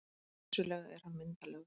Vissulega er hann myndarlegur.